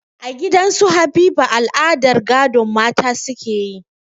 A gidan su Habiba al'adar gadon mata suke yi